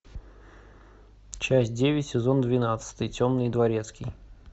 часть девять сезон двенадцатый темный дворецкий